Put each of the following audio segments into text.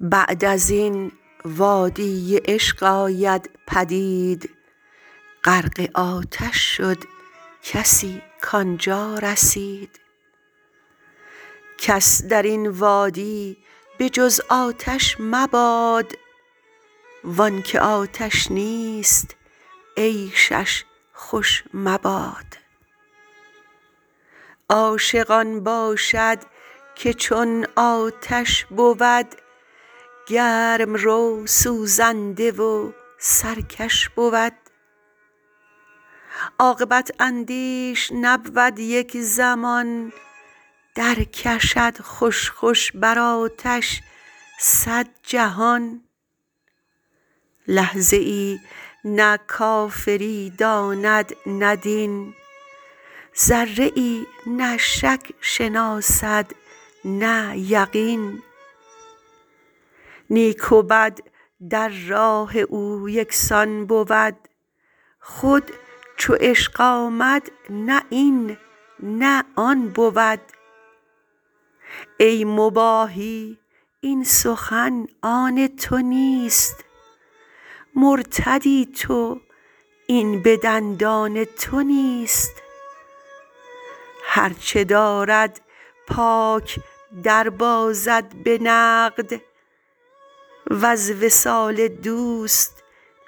بعد ازین وادی عشق آید پدید غرق آتش شد کسی کانجا رسید کس درین وادی به جز آتش مباد وانک آتش نیست عیشش خوش مباد عاشق آن باشد که چون آتش بود گرم رو سوزنده و سرکش بود عاقبت اندیش نبود یک زمان در کشد خوش خوش بر آتش صد جهان لحظه ای نه کافری داند نه دین ذره ای نه شک شناسد نه یقین نیک و بد در راه او یکسان بود خود چو عشق آمد نه این نه آن بود ای مباحی این سخن آن تونیست مرتدی تو این به دندان تو نیست هرچ دارد پاک دربازد به نقد وز وصال دوست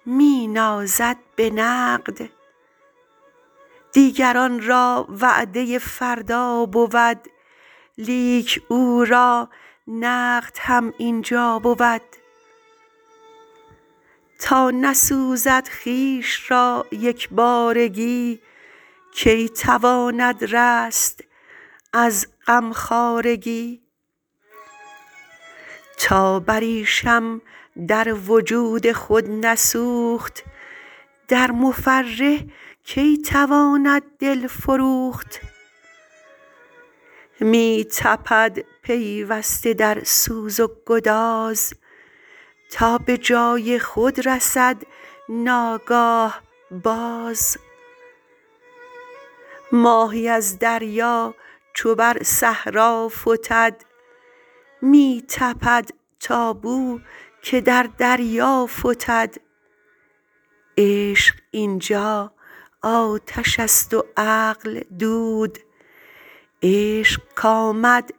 می نازد به نقد دیگران را وعده فردا بود لیک او را نقد هم اینجا بود تا نسوزد خویش را یک بارگی کی تواند رست از غم خوارگی تا بریشم در وجود خود نسوخت در مفرح کی تواند دل فروخت می تپد پیوسته در سوز و گداز تا بجای خود رسد ناگاه باز ماهی از دریا چو بر صحرا فتد می تپد تا بوک در دریا فتد عشق اینجا آتشست و عقل دود عشق کامد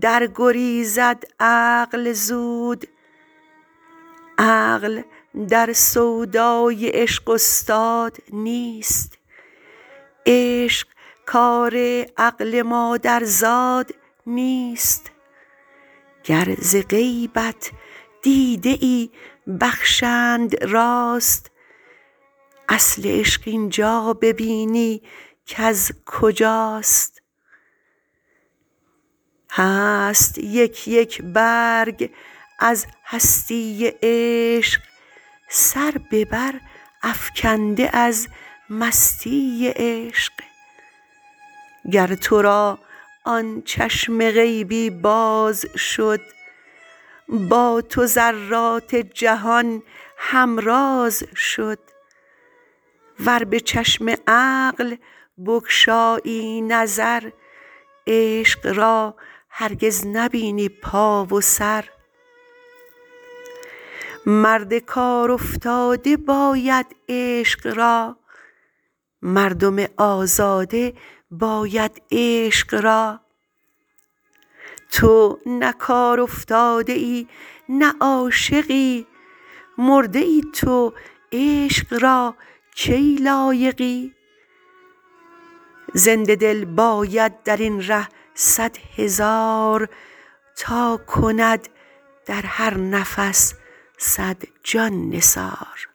در گریزد عقل زود عقل در سودای عشق استاد نیست عشق کار عقل مادر زاد نیست گر ز غیبت دیده ای بخشند راست اصل عشق اینجا ببینی کز کجاست هست یک یک برگ از هستی عشق سر ببر افکنده از مستی عشق گر ترا آن چشم غیبی باز شد با تو ذرات جهان هم راز شد ور به چشم عقل بگشایی نظر عشق را هرگز نبینی پا و سر مرد کارافتاده باید عشق را مردم آزاده باید عشق را تو نه کار افتاده ای نه عاشقی مرده ای تو عشق را کی لایقی زنده دل باید درین ره صد هزار تا کند در هرنفس صد جان نثار